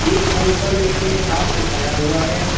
एक बोड पर व्यक्ति ने हाथ उठाया हुआ है।